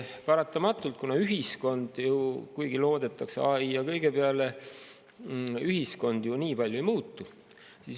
Paratamatult ühiskond nii palju ei muutu, kuigi loodetakse AI ja kõige seesuguse peale.